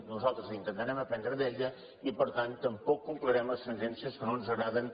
nosaltres intentarem aprendre d’ella i per tant tampoc complirem les sentències que no ens agraden